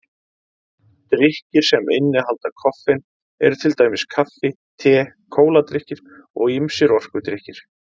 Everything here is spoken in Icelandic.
Drykkir sem innihalda koffein eru til dæmis kaffi, te, kóladrykkir og ýmsir orkudrykkir.